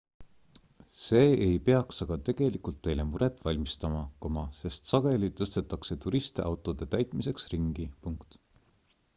see ei peaks aga tegelikult teile muret valmistama sest sageli tõstetakse turiste autode täitmiseks ringi